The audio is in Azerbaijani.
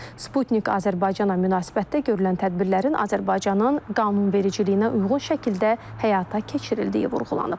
Sputnik Azərbaycana münasibətdə görülən tədbirlərin Azərbaycanın qanunvericiliyinə uyğun şəkildə həyata keçirildiyi vurğulanıb.